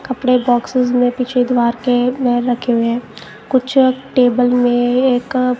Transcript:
कपड़े बॉक्सेस में पीछे द्वार के में रखे हुए हैं कुछ टेबल में एक--